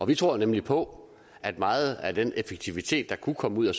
vi tror nemlig på at meget af den effektivitet der kunne komme ud af